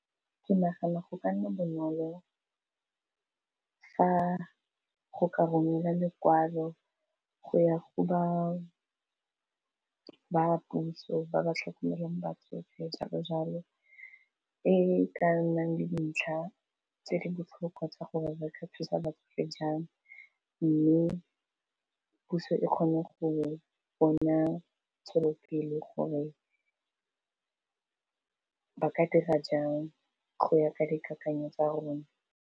Ke nagana go ka nna bonolo fa go ka romela lekwalo go ya go ba puso ba ba tlhokomelang batsofe jalo-jalo e ka nnang dintlha tse di botlhokwa tsa gore ba ka thusa batsofe jang, mme puso e kgone go bona tswelopele gore ka dira jang go ya ka dikakanyo tsa rona.